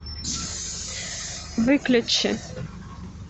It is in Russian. выключи